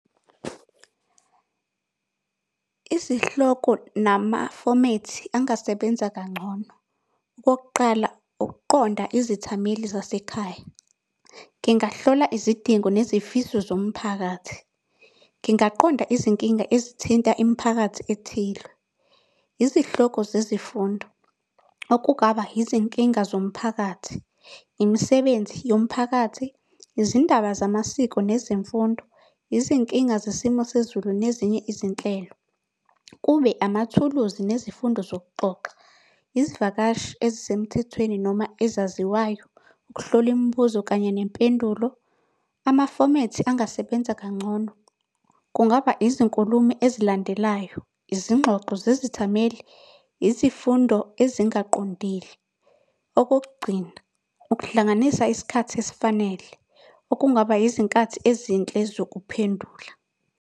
Izihloko namafomethi angasebenza kangcono. Okokuqala ukuqonda izithameli zasekhaya, ngingahlola izidingo nezifiso zomphakathi. Ngingaqonda izinkinga ezithinta imiphakathi ethile. Izihloko zezifundo, okungaba izinkinga zomphakathi, imisebenzi yomphakathi, izindaba zamasiko nezemfundo, izinkinga zesimo sezulu nezinye izinhlelo. Kube amathuluzi nezifundo zokuxoxa, izivakashi ezisemthethweni noma ezaziwayo, ukuhlola imibuzo kanye nempendulo. Amafomethi angasebenza kangcono, kungaba izinkulumo ezilandelayo, izingxoxo zezithameli, izifundo ezingaqondile. Okokugcina, ukuhlanganisa isikhathi esifanele, okungaba izinkathi ezinhle zokuphendula.